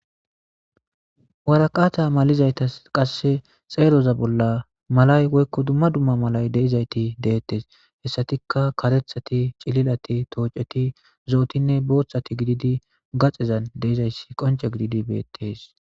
waraqaata malizaytas qasse xeeroza bolla malay woykko dumma dumma malay deizayti deettes hessatikka karethati cililati tooceti zootinne booththati gididi gaxezan deizayssi qonce gididi beettes